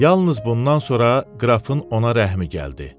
Yalnız bundan sonra qrafın ona rəhmi gəldi.